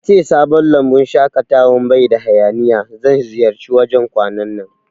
Yace sabon lambun shaƙatawan baida hayaniya, zan ziyarci wajan kwanan nan